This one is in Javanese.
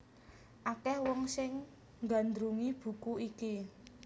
Akèh wong sing nggandrungi buku iki